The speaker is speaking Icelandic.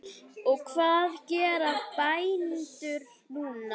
Og hvað gera bændur núna?